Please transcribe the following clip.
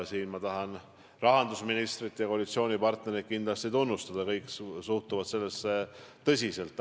Ma tahan rahandusministrit ja koalitsioonipartnereid kindlasti tunnustada, kõik suhtuvad sellesse tõsiselt.